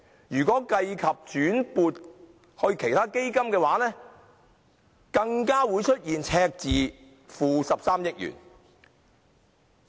如計及轉撥至其他基金的金額，更會出現 -13 億元的赤字。